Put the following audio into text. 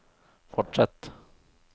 fortsett